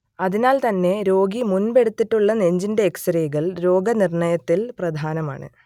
അതിനാൽ തന്നെ രോഗി മുൻപെടുത്തിട്ടുള്ള നെഞ്ചിന്റെ എക്സ്റേകൾ രോഗനിർണയത്തിൽ പ്രധാനമാണ്